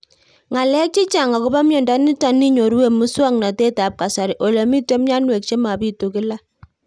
Ng'alek chechang' akopo miondo nitok inyoru eng' muswog'natet ab kasari ole mito mianwek che mapitu kila